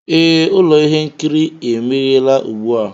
Ee, ụlọ ihe nkiri emeghela ugbu a